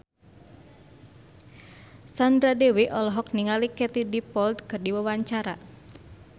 Sandra Dewi olohok ningali Katie Dippold keur diwawancara